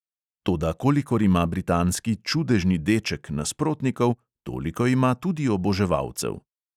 Toda kolikor ima britanski "čudežni deček" nasprotnikov, toliko ima tudi oboževalcev.